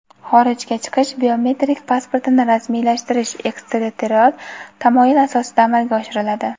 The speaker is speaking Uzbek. xorijga chiqish biometrik pasportini rasmiylashtirish eksterritorial tamoyil asosida amalga oshiriladi.